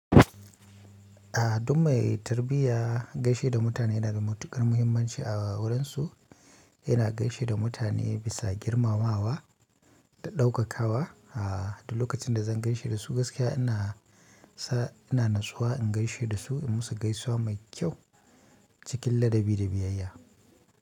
A duk mai tarbiyya gaishe da mutane yana da matuƙar muhimmanci a wurinsu. Yana gaishe da mutane bisa girmamawa da ɗaukakawa. A duk lokacin da zan gaishe da su gaskiya ina sa, ina natsuwa in gaishe da su in musu gaisuwa mai kyau cikin ladabi da biyayya.